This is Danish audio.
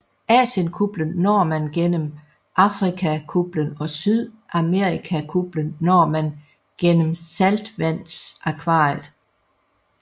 Asienkuplen når man gennem Afrikakuplen og Sydamerikakuplen når man gennem saltvandsakvariet